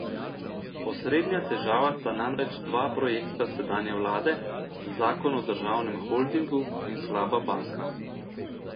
Osrednja težava sta namreč dva projekta sedanje vlade, zakon o državnem holdingu in slaba banka.